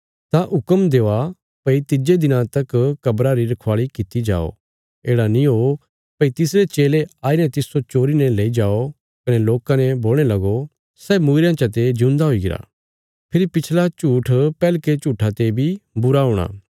तां हुक्म देआ भई तिज्जे दिना तक कब्रा री रखवाली किति जाओ येढ़ा नीं ओ भई तिसरे चेले आई ने तिस्सो चोरी ने लेई जाओ कने लोकां ने बोलणे लगो सै मूईरयां चते जिऊंदा हुईगरा फेरी पिछला झूठ पैहलके झूठा ते बी बुरा हूणा